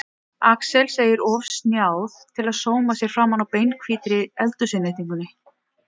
Axel segir of snjáð til að sóma sér framan á beinhvítri eldhúsinnréttingunni.